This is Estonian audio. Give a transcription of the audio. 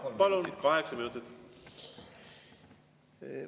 Jaa, palun, kaheksa minutit!